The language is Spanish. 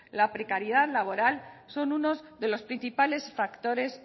la precariedad laboral son unos de los principales factores